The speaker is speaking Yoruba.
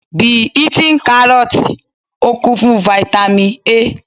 Be eating Kárọ́ọ́tì, ó kún fún Fáítámì A.